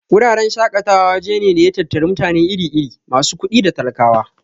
Wuraren shaƙatawa waje ne da ya tattari mutane iri-iri, masu kuɗi da talakawa.